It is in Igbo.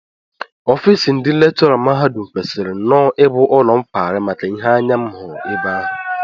Ofiisi ndị lekchọra mahadum kwesịrị nnọọ ibu ụlọ nkwari maka ihe anya m hụrụ ebe ahụ